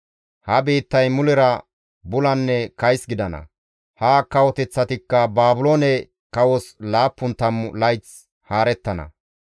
Ha biittay mulera bulanne kays gidana; ha kawoteththatikka Baabiloone kawos laappun tammu layth haarettana.